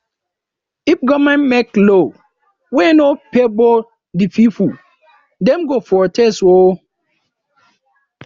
if government make law wey no favour de pipo dem go protest oo